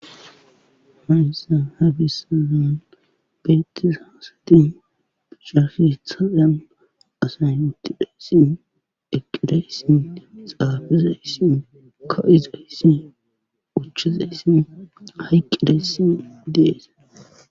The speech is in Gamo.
hayssa ha bessaan beettis haasatin piccafithalan asay wuttidayssin eqqidayssin xaabizayssin ka7izayssin uchchizayssin hayqqidayssi dees